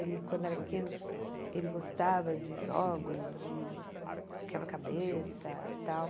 Ele, quando era pequeno, ele gostava de jogos, de quebra-cabeça e tal.